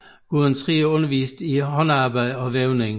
Gudrun Trier underviste i håndarbejde og vævning